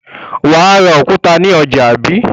Wà á ra òkúta ní ọjà, àbí?